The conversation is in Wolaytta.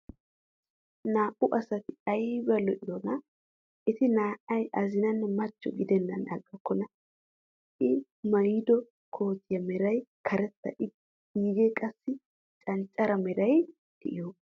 Naa"u asati ayba lo"iyonaa! Eti naa"ay aziinnanne machcho gidenaan aggokkona, i maayido kootiya meray karetta iigee qassi canccare meray de'iyogaa.